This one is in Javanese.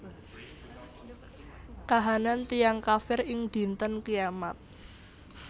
Kahanan tiyang kafir ing Dinten Kiamat